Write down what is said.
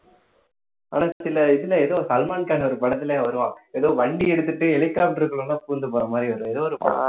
ஆனா சில இதுல சல்மான் கான் ஒரு படத்துல வருவான் ஏதோ வண்டி எடுத்துட்டு helicopter க்குள்ள எல்லாம் பூந்து போற மாதிரி ஏதோ ஒரு படம்